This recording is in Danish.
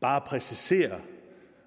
bare at præcisere